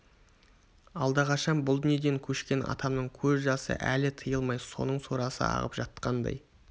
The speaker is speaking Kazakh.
алдақашан бұл дүниеден көшкен атамның көз жасы әлі тыйылмай соның сорасы ағып жатқандай